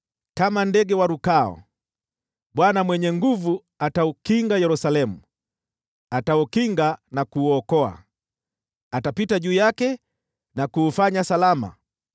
Kama ndege warukao, Bwana Mwenye Nguvu Zote ataukinga Yerusalemu; ataukinga na kuuokoa, atapita juu yake na kuufanya salama.”